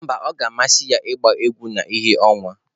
Mba, ọ ga-amasị ya ịgba egwu na ìhè ọnwa.